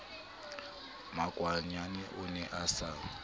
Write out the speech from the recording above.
makwanyane o ne a sa